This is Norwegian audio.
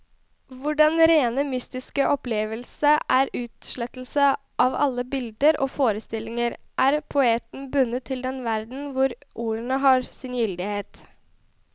Hvor den rene mystiske opplevelse er utslettelse av alle bilder og forestillinger, er poeten bundet til den verden hvor ordene har sin gyldighet.